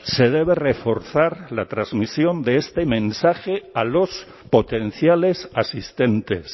se debe reforzar la transmisión de este mensaje a los potenciales asistentes